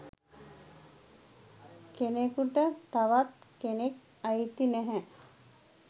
"කෙනෙකුට තවත් කෙනෙක් අයිති නැහැ"